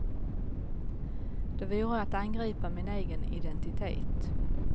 Det vore att angripa min egen identitet.